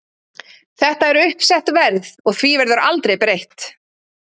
Þetta er uppsett verð og því verður aldrei breytt.